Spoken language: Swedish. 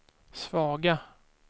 svaga